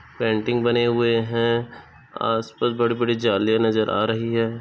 Painting बने हुए है आस-पास बड़ी बड़ी जालियाँ नजर आ रही है।